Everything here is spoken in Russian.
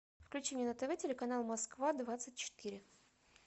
включи мне на тв телеканал москва двадцать четыре